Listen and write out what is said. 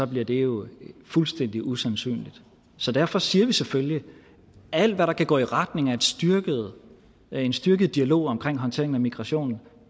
bliver det jo fuldstændig usandsynligt så derfor siger vi selvfølgelig at alt hvad der kan gå i retning af en styrket en styrket dialog om håndtering af migration